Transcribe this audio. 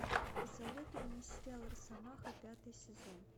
посоветуй мне сериал росомаха пятый сезон